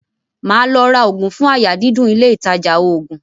Màá lọ ra oògùn fún àyà dídùn ilé-ìtajà oògùn.